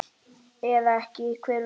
Eða ekki, hver veit?